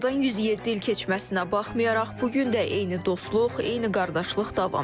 Aradan 107 il keçməsinə baxmayaraq, bu gün də eyni dostluq, eyni qardaşlıq davam edir.